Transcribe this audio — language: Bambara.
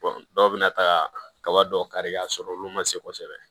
dɔw bɛ na taa kaba dɔ kari ka sɔrɔ olu man se kosɛbɛ